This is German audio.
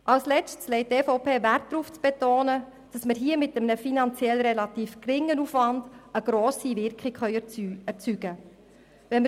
Als Letztes legt die EVP Wert darauf zu betonen, dass mit einem finanziell relativ geringen Aufwand eine grosse Wirkung erzielt werden kann.